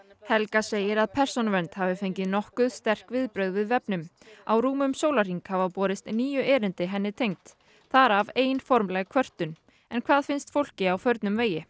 helga segir að Persónuvernd hafi fengið nokkuð sterk viðbrögð við vefnum á rúmum sólarhring hafa borist níu erindi henni tengd þar af ein formleg kvörtun en hvað finnst fólki á förnum vegi